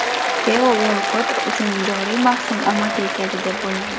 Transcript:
Teo Uolkott uchun joriy mavsum omadli keldi deb bo‘lmaydi.